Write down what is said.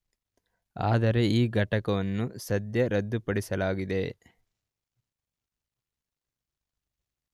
ಆದರೆ ಈ ಘಟಕವನ್ನು ಸದ್ಯ ರದ್ದುಪಡಿಸಲಾಗಿದೆ.